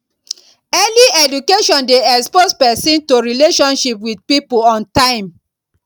early education de expose persin to relationship with pipo on time